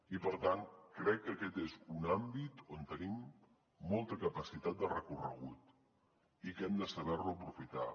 i per tant crec que aquest és un àmbit on tenim molta capacitat de recorregut i que hem de saber lo aprofitar